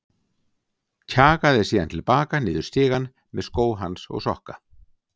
Kjagaði síðan til baka niður stigann með skó hans og sokka.